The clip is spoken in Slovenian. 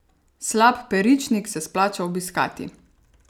Slap Peričnik se splača obiskati.